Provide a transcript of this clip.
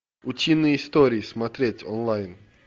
утиные истории смотреть онлайн